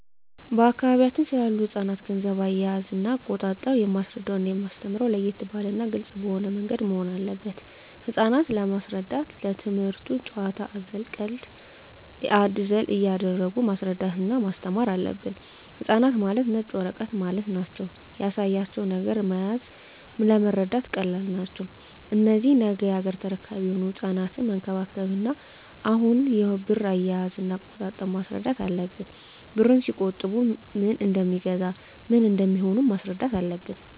በአካባቢያችን ስላሉ ህጻናት ገንዘብ አያያዝና አቆጣጠብ የማስረዳውና የማስተምረው ለየት ባለና ግልጽ በሆነ ምንገድ መሆን አለበት ህጻናት ለመሰረዳት ትምክህቱን ጭዋታ አዘል ቀልድ አዘል እያረጉ ማስረዳት እና ማስተማር አለብን ህጻናት ማለት ነጭ ወረቀት ማለት ናቸው ያሳያቸው ነገር መያዝ ለመረዳት ቀላል ናቸው እነዚህ ነገ ያገሬ ተረካቢ የሆኑ ህጻናትን መንከባከብ እና አሁኑ የብር አያያዥ እና አቆጣጠብ ማስረዳት አለብን ብርን ሲቆጥቡ ምን እደሜገዛ ምን እንደሚሆኑም ማስረዳት አለብን